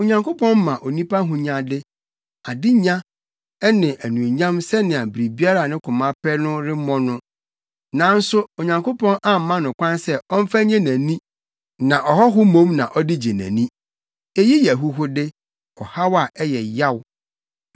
Onyankopɔn ma onipa ahonyade, adenya ne anuonyam sɛnea biribiara a ne koma pɛ no ɛremmɔ no, nanso Onyankopɔn amma no kwan sɛ ɔmfa nnye nʼani, na ɔhɔho mmom na ɔde gye nʼani. Eyi yɛ ahuhude, ɔhaw a ɛyɛ yaw.